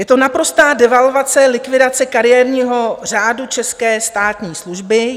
Je to naprostá devalvace, likvidace kariérního řádu české státní služby.